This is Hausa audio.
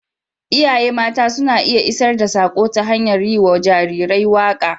Iyaye mata suna iya isar da saƙo ta hanyar yi wa jarirai waƙoƙi.